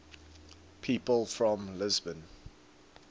people from lisbon